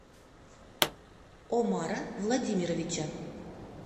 омара владимировича